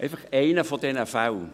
Einfach einer dieser Fälle: